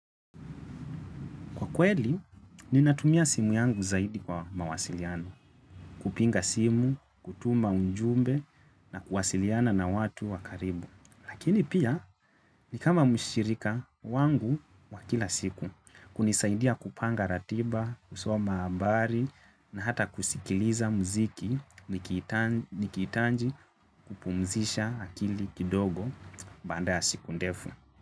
Kwa kweli, ninatumia simu yangu zaidi kwa mawasiliano, kupiga simu, kutuma ujumbe na kuwasiliana na watu wakaribu. Lakini pia, nikama mshirika wangu wakila siku, kunisaidia kupanga ratiba, kusoma habari na hata kusikiliza mziki nikihitaji kupumzisha akili kidogo baada ya siku ndefu.